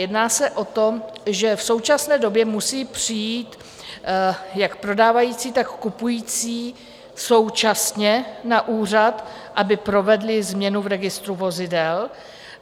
Jedná se o to, že v současné době musí přijít jak prodávající, tak kupující současně na úřad, aby provedli změnu v registru vozidel.